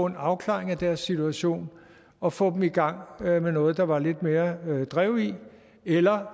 en afklaring af deres situation og få dem i gang med noget der var lidt mere drev i eller